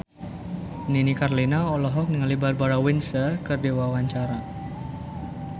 Nini Carlina olohok ningali Barbara Windsor keur diwawancara